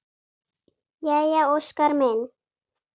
Jæja Óskar minn!